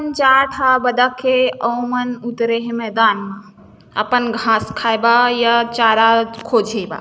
जाक ह बताक के अओ मन उतरे हे मैदान म अपन घास खाए बा या चारा खोचेबा।